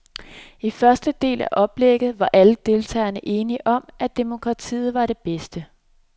I den første del af oplægget var alle deltagerne enige om, at demokrati var det bedste.